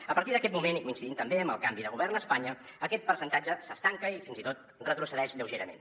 a partir d’aquest moment i coincidint també amb el canvi de govern a espanya aquest percentatge s’estanca i fins i tot retrocedeix lleugerament